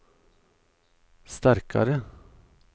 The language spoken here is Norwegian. sterkare